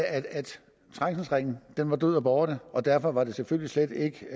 trængselsringen var død og borte og derfor var det selvfølgelig slet ikke